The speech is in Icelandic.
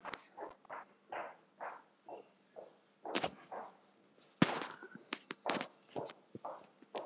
En alltof stutt.